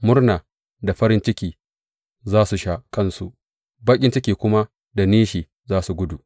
Murna da farin ciki za su sha kansu, baƙin ciki kuma da nishi za su gudu.